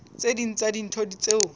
tse ding tsa dintho tseo